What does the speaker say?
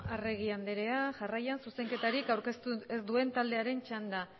arregi andrea jarraian zuzenketarik aurkeztu ez duen taldearen txanda